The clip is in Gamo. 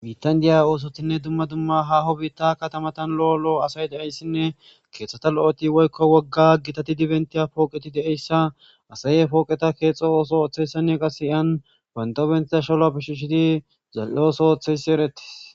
bitan diya oosotinne dumma dumma haho biitta katamatan lo7o lo7o asay de7eyssinne keeththata lo7eti woykko wogga gitati dibentiya pooqeti deeyssa asaye pooqeta keexxo ooso ooththeyssanne qase hiyan wantobentiza shaloa pishishiti zal7e ooso ooththeyssi eretis